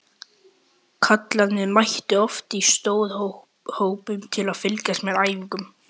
Kallarnir mættu oft í stórhópum til að fylgjast með æfingunum.